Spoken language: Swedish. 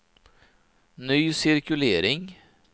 ny cirkulering